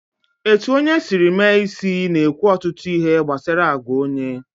Etu onye Siri mee isi na-ekwu ọtụtụ ihe gbasara àgwà onye